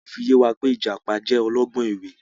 Wọn fi yẹ wá wí pé Ìjàpá jẹ́ ọlọ́gbọ́n ẹ̀wẹ̀